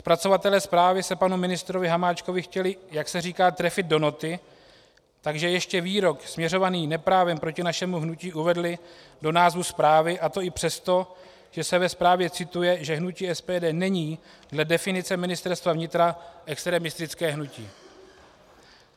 Zpracovatelé zprávy se panu ministrovi Hamáčkovi chtěli, jak se říká, trefit do noty, takže ještě výrok směřovaný neprávem proti našemu hnutí uvedli do názvu zprávy, a to i přesto, že se ve zprávě cituje, že hnutí SPD není dle definice Ministerstva vnitra extremistické hnutí.